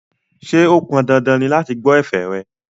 Ṣé ó pon dandan ni láti gbọ́ ẹ̀fẹ̀ rẹ̀?